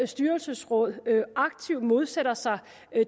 styrelsesråd aktivt modsætter sig